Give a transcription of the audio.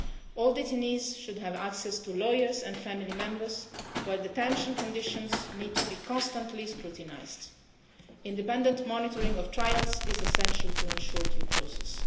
All detainees should have access to lawyers and family members, and detention conditions need to be constantly scrutinised. Independent monitoring of trials is essential to ensure due process.